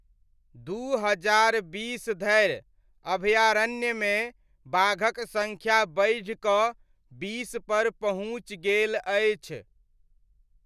दू हजार बीस धरि अभयारण्यमे बाघक सङ्ख्या बढ़िकऽ बीसपर पहुँचि गेल अछि।